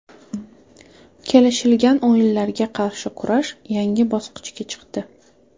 Kelishilgan o‘yinlarga qarshi kurash yangi bosqichga chiqdi.